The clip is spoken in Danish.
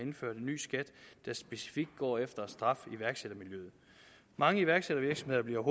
indført en ny skat der specifikt går efter at straffe iværksættermiljøet mange iværksættervirksomheder bliver